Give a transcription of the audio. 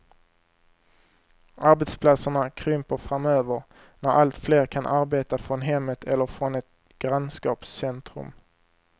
Arbetsplatserna krymper framöver, när allt fler kan arbeta från hemmet eller från ett grannskapscentrum.